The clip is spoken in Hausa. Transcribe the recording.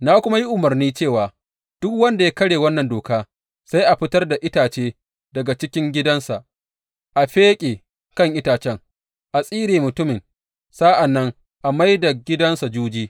Na kuma yi umarni cewa duk wanda ya karya wannan doka sai a fitar da itace daga cikin gidansa, a fiƙe kan itacen, a tsire mutumin, sa’an nan a mai da gidansa juji.